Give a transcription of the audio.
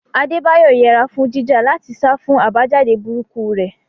Adebayo yẹra fún jíjà láti sá fún àbájáde burúkú rẹ̀.